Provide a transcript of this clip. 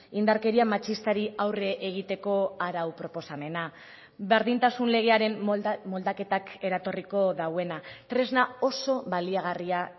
indarkeria matxistari aurre egiteko arau proposamena berdintasun legearen moldaketak eratorriko duena tresna oso baliagarria